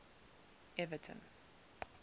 everton